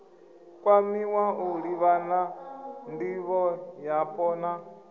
kwamiwa u livhana ndivhoyapo na